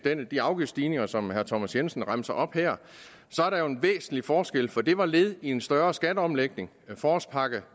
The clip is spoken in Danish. de afgiftsstigninger som herre thomas jensen remser op her er der jo en væsentlig forskel for det var led i en større skatteomlægning forårspakke